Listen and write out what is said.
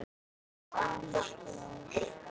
Elsku Ásta.